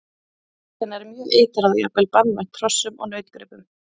Bit hennar er mjög eitrað og jafnvel banvænt hrossum og nautgripum.